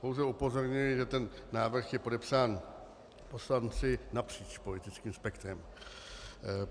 Pouze upozorňuji, že ten návrh je podepsán poslanci napříč politickým spektrem.